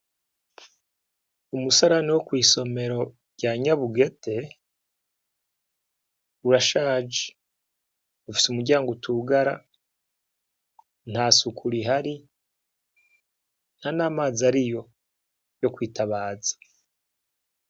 Umusarani wo kw'isomero rya nyabugete, urashaje ufise umuryango utugara, ntasuku rihari ,ntanamazi ariho yokwitabaza.